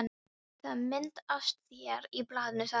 Það er mynd af þér í blaðinu, sagði hann.